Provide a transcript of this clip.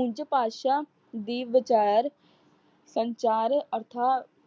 ਉਝ ਭਾਸ਼ਾ ਦੀ ਵਚੈਰ ਸੰਚਾਰ ਅਰਥਾ